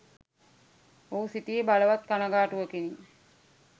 ඔහු සිටියේ බලවත් කනගාටුවකිනි